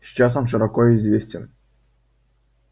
сейчас он широко известен